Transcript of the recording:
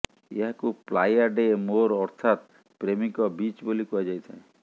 ଏହାକୁ Playa de Mor ଅର୍ଥାତ୍ ପ୍ରେମୀଙ୍କ ବିଚ୍ ବୋଲି କୁହାଯାଇଥାଏ